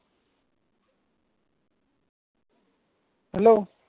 hello